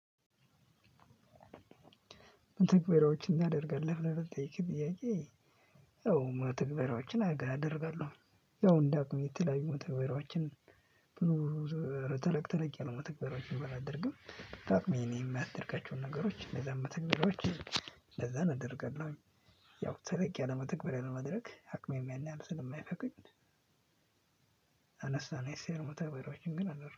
መተግበሪያዎችን ታደርጋለህ ብለህ ለጠየከኝ ጥያቄ። አዎ መተግበሪያዎችን አደርጋለሁ ያው እንደ አቅሜ የተለያዩ መተግበሪያዎችን ብዙ ተለቅ ተለቅ ያሉ መተግበሪያዎችን ባላደርግም ታቅሜ የማደርጋቸውን ነገሮች እነዛን መተግበሪያዎች እነዛን አደርጋለሁኝ። ያው ተለቅ ያለ መተግበርያ ለማድረግ አቅሜም ያን ያህል ስለየማይፈቅድ አነስ አነስ ያሉ መተግበሪያዎችን ግን አደር